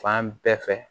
Fan bɛɛ fɛ